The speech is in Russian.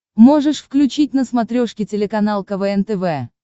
можешь включить на смотрешке телеканал квн тв